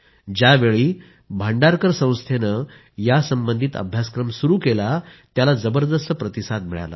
ज्यावेळी भांडारकर संस्थेने यासंबंधित अभ्यासक्रम सुरू केला त्याला जबरदस्त प्रतिसाद मिळाला